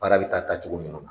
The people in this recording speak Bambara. Baara bɛ taa taacogo ninnu na.